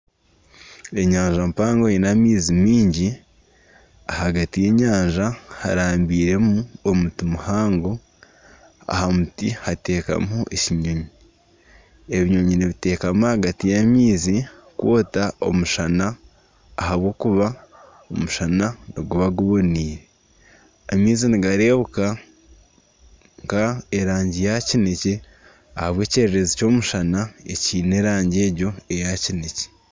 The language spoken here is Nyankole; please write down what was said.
Enyanja mpango eine amaizi mingi ahagati y'enyanja harambiremu omuti muhango aha muti hatekamiho ekinyoonyi, ebinyonyi nibitekama ahagati y'amaizi kwoota omushana ahabw’okuba omushana niguba guboniire, amaizi nigareebeka nka erangi ya kinekye ahabw'ekyererezi ky'omushana ekiine erangi egyo eya kinekye.